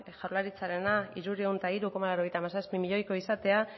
jaurlaritzarena hirurehun eta hiru koma laurogeita hamazazpi milioikoa izatea